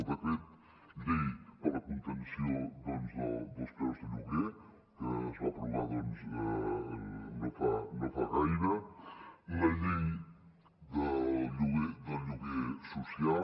el decret llei per a la contenció dels preus de lloguer que es va aprovar no fa gaire la llei del lloguer social